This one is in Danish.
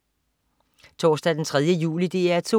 Torsdag den 3. juli - DR 2: